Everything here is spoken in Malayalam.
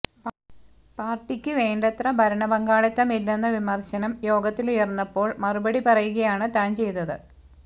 പാര്ട്ടിക്ക് വേണ്ടത്ര ഭരണപങ്കാളിത്തമില്ലെന്ന വിമര്ശനം യോഗത്തിലുയര്ന്നപ്പോള് മറുപടി പറയുകയാണ് താന് ചെയ്തത്